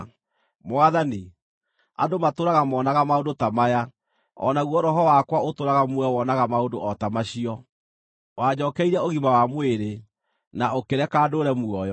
Mwathani, andũ matũũraga moonaga maũndũ ta maya; o naguo roho wakwa ũtũũraga muoyo wonaga maũndũ o ta macio. Wanjookeirie ũgima wa mwĩrĩ, na ũkĩreka ndũũre muoyo.